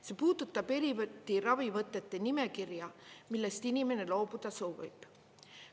See puudutab eri ravivõtete nimekirja, millest inimene loobuda soovib.